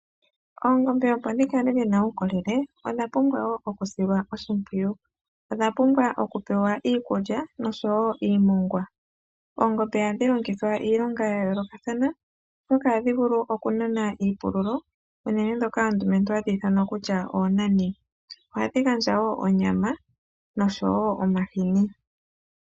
Oongombe opo dhi kale dhina uukolele, odha pumbwa wo oku silwa oshimpwiyu. Odha pumbwa oku pewa iikulya noshowo iimongwa. Oongombe ohadhi longithwa iilonga ya yoolokathana oshoka ohadhi vulu okunana iipululo unene ndhoka oondumentu hadhi ithanwa kutya oonani. Ohadhi gandja wo onyama noshowo omahini.